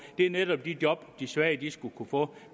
det er netop de job de svage skulle kunne få